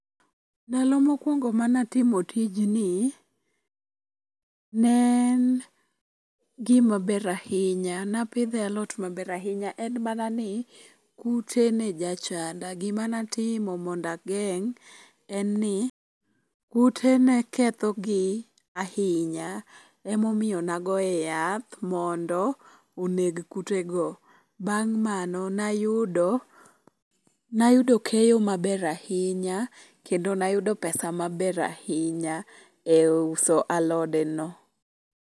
Ndalo mokwongo manatimo tijni, ne en gimaber ahinya ,napidhoe alot maber ahinya. En mana ni kute ne jachanda ,gima natimo mondo ageng' en ni ,kute ne ketho gi ahinya, emomiyo ne agoye yath mondo oneg kutego. Bang' mano, nayudo keyo maber ahinya kendo nayudo pesa maber ahinya e uso alodeno.